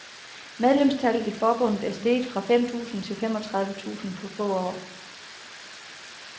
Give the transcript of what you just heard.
Medlemstallet i forbundet er steget fra fem tusind til femogtredive tusind på få år.